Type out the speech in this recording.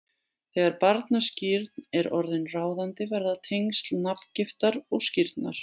Þegar barnaskírn er orðin ráðandi verða tengsl nafngiftar og skírnar